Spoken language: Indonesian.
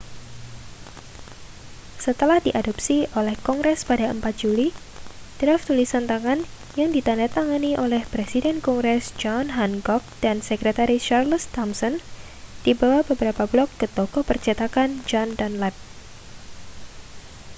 setelah diadopsi oleh kongres pada 4 juli draf tulisan tangan yang ditandatangani oleh presiden kongres john hancock dan sektretaris charles thomson dibawa beberapa blok ke toko percetakan john dunlap